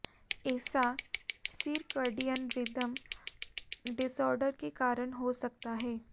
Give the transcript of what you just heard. ऐसा circadian rhythm disorder के कारण हो सकता है